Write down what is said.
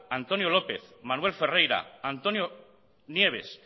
antonio lópez manuel ferreira antonio nieves